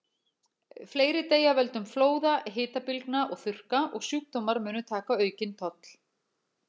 Fleiri deyja af völdum flóða, hitabylgna og þurrka, og sjúkdómar munu taka aukinn toll.